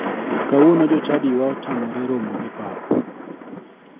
Kawuono jochadiwa otamore romo e pap.